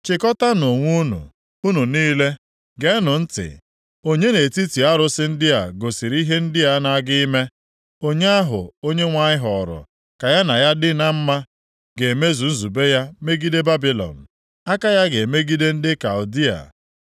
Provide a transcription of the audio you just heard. “Chịkọtaanụ onwe unu, unu niile, geenụ ntị. Onye nʼetiti arụsị ndị a gosiri ihe ndị a na-aga ime? Onye ahụ Onyenwe anyị họọrọ ka ya na ya dị na mma ga-emezu nzube ya megide Babilọn, aka ya ga-emegide ndị Kaldịa.